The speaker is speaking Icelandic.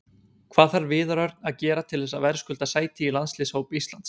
Hvað þarf Viðar Örn að gera til þess að verðskulda sæti í landsliðshóp Íslands?